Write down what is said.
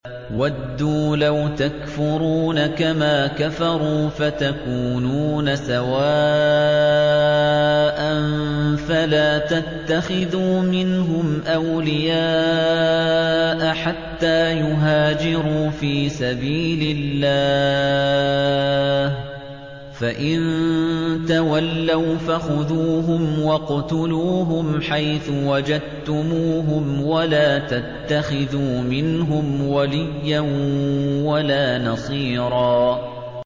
وَدُّوا لَوْ تَكْفُرُونَ كَمَا كَفَرُوا فَتَكُونُونَ سَوَاءً ۖ فَلَا تَتَّخِذُوا مِنْهُمْ أَوْلِيَاءَ حَتَّىٰ يُهَاجِرُوا فِي سَبِيلِ اللَّهِ ۚ فَإِن تَوَلَّوْا فَخُذُوهُمْ وَاقْتُلُوهُمْ حَيْثُ وَجَدتُّمُوهُمْ ۖ وَلَا تَتَّخِذُوا مِنْهُمْ وَلِيًّا وَلَا نَصِيرًا